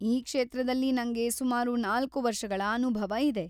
ಈ ಕ್ಷೇತ್ರದಲ್ಲಿ ನಂಗೆ ಸುಮಾರು ನಾಲ್ಕು ವರ್ಷಗಳ ಅನುಭವ ಇದೆ.